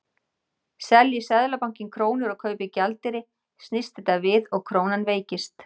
Selji Seðlabankinn krónur og kaupir gjaldeyri snýst þetta við og krónan veikist.